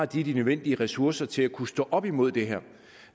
de nødvendige ressourcer til at kunne stå op imod det